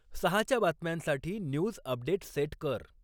सहाच्या बातम्यांसाठी news update set कर